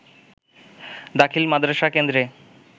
দাখিল মাদরাসা কেন্দ্রে